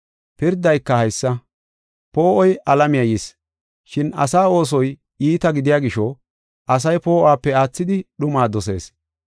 Pirdayka haysa: poo7oy alamiya yis, shin asaa oosoy iita gidiya gisho asay poo7uwape aathidi dhumaa dosees.